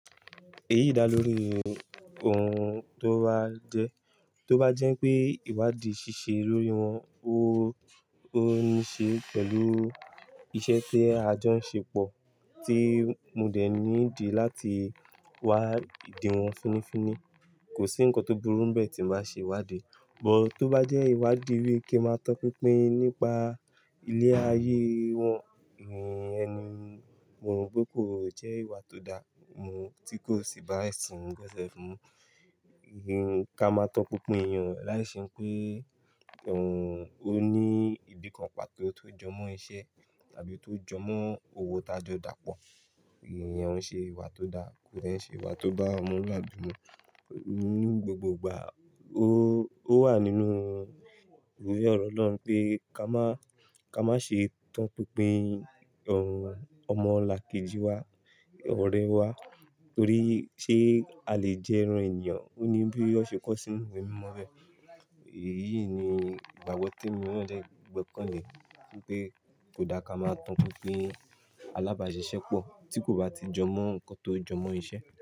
Èyí dá lórí ohun tó bá jẹ́, tó bá jẹ́ pé ìwádìí ṣíṣe lórí wọn, ó, ó ní ṣe pẹ̀lú iṣẹ́ tí a jọ ń ṣe pọ̀ tí mo dẹ̀ ní dì láti wá dì wọ́n fínnífínní. Kò sí ǹkan tó burú bẹ́ẹ̀ tí màá ṣe ìwádìí. Bò tó bá jẹ́ ìwádìí wípé kí máa tàn pínpín nípa ilé ayé wọn, ì, ẹni, mo rò pé kò jẹ́ ìwà tó dáa, mo, tí kò sì bá ẹ̀sìn mi gbẹ́sẹ̀ fún. Ih, ká máa tàn pínpín èèyàn láìṣe pé, ohun, ó ní ibìkan pa tó ti jọmọ́ iṣẹ́ tàbí tó jọmọ́ owó tá jọ dá pọ̀. Ìyẹn òun ṣe ìwà tó dá, kò dé n ṣe ìwà tó bá ọmọ lùàbí mú. Ní gbogbogbà ó, ó wà nínú ìwé ọ̀rọ̀ Ọlọ́run pé ká má, ká má ṣe tan pínpín, ohun, ọmọ làkejì wa, ọ̀rẹ́ wa torí ṣé a le jẹ ẹran èèyàn, ó ní bí ó ṣe kọ sí inú ìwé mímọ́ bẹ̀. Èyí ni ìgbàgbọ́ tí èmi náà dé gbọ́ kánlẹ̀ wípé kò dáa ká máa tan pínpín alábàáṣiṣẹ́ pọ̀ tí kò bá ti jọmọ́ ǹkan tó jọmọ́ iṣẹ́.